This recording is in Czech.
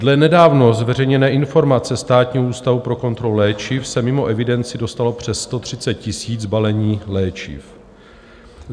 Dle nedávno zveřejněné informace Státního ústavu pro kontrolu léčiv se mimo evidenci dostalo přes 130 000 balení léčiv.